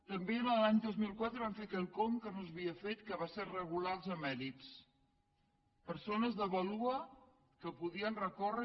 també l’any dos mil quatre vam fer quelcom que no s’havia fet que va ser regular els emèrits persones de vàlua que poden recórrer